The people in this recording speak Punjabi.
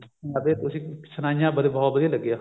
ਹਾਂ ਤੁਸੀਂ ਸੁਣਾਈਆਂ ਬਹੁਤ ਵਧੀਆ ਲੱਗਿਆ